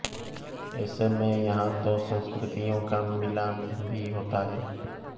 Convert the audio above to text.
ऐसे में यहाँ तो संस्कृतियों का मिलान भी होता हैं